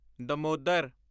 Damodar